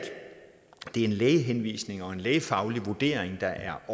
en lægehenvisning og en lægefaglig vurdering der